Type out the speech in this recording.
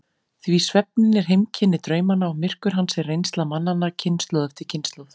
Því svefninn er heimkynni draumanna og myrkur hans er reynsla mannanna kynslóð eftir kynslóð.